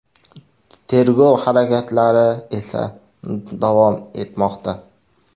Tergov harakatlari esa davom etmoqda.